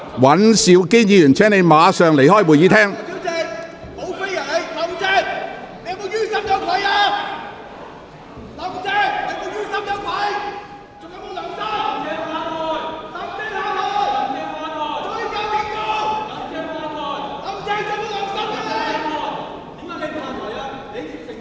尹兆堅議員，請你立即離開會議廳。